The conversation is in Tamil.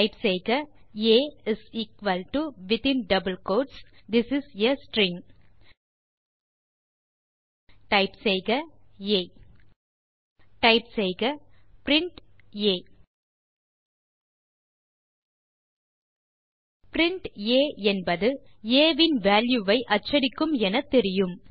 டைப் செய்க ஆ within double quotes this is a string type செய்க ஆ டைப் செய்க பிரின்ட் ஆ பிரின்ட் ஆ என்பது ஆ இன் வால்யூ ஐ அச்சடிக்கும் என தெரியும்